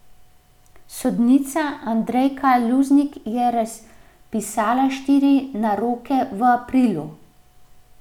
Sodnica Andrejka Luznik je razpisala štiri naroke v aprilu.